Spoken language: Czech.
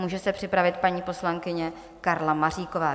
Může se připravit paní poslankyně Karla Maříková.